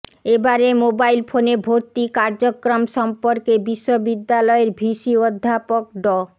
এবারে মোবাইল ফোনে ভর্তি কার্যক্রম সম্পর্কে বিশ্ববিদ্যালয়ের ভিসি অধ্যাপক ড